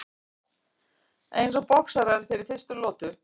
Eins og boxarar fyrir fyrstu lotu.